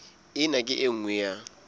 ena ke e nngwe ya